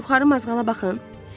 Bir yuxarı mazğala baxın!